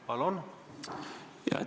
Palun!